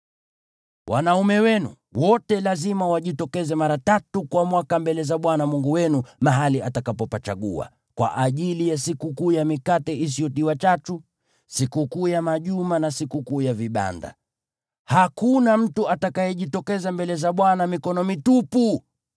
Wanaume wenu wote lazima wajitokeze mara tatu kwa mwaka mbele za Bwana Mungu wenu mahali atakapopachagua: kwa ajili ya Sikukuu ya Mikate Isiyotiwa Chachu, Sikukuu ya Majuma, na Sikukuu ya Vibanda. Hakuna mtu atakayejitokeza mbele za Bwana mikono mitupu: